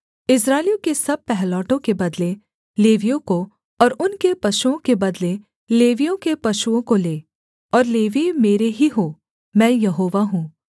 इस्राएलियों के सब पहिलौठों के बदले लेवियों को और उनके पशुओं के बदले लेवियों के पशुओं को ले और लेवीय मेरे ही हों मैं यहोवा हूँ